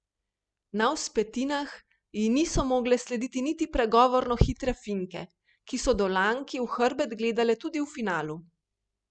Na vzpetinah ji niso mogle slediti niti pregovorno hitre Finke, ki so Dolanki v hrbet gledale tudi v finalu.